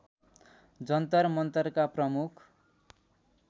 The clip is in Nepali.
जन्तर मन्तरका प्रमुख